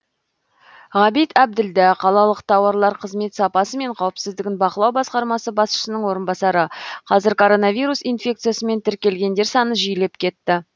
ғабит әбділдә қалалық тауарлар қызмет сапасы мен қауіпсіздігін бақылау басқармасы басшысының орынбасары қазір коронавирус инфекциясымен тіркелгендер саны жиілеп кетті